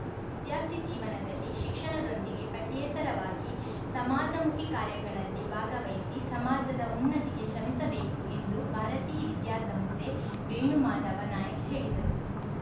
ವಿದ್ಯಾರ್ಥಿ ಜೀವನದಲ್ಲಿ ಶಿಕ್ಷಣದೊಂದಿಗೆ ಪಠ್ಯೇತರವಾಗಿ ಸಮಾಜಮುಖಿ ಕಾರ್ಯಗಳಲ್ಲಿ ಭಾಗವಹಿಸಿ ಸಮಾಜದ ಉನ್ನತಿಗೆ ಶ್ರಮಿಸಬೇಕು ಎಂದು ಭಾರತೀ ವಿದ್ಯಾಸಂಸ್ಥೆ ವೇಣುಮಾದವ ನಾಯಕ್‌ ಹೇಳಿದರು